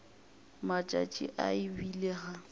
matšatši a e bile ga